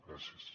gràcies